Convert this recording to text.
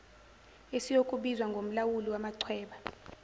esiyokubizwa ngomlawuli wamachweba